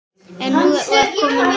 En nú var komið nóg.